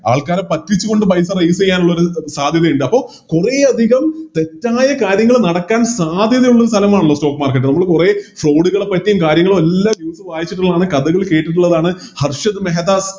ആൾക്കാരെ പറ്റിച്ചുകൊണ്ട് പൈസ Raise ചെയ്യാനുള്ളൊരു സാധ്യതയുണ്ട് അപ്പൊ കൊറേയധികം തെറ്റായ കാര്യങ്ങൾ നടക്കാൻ സാധ്യതയുള്ള സ്ഥലമാണല്ലോ Stock market നമ്മള് കൊറേ Fraud പറ്റിയും കാര്യങ്ങളും എല്ലാം News ൽ വായിച്ചിട്ടുള്ളതാണ് കഥകള് കേട്ടിട്ടുള്ളതാണ് ഹർഷദ് മെഹദാദ്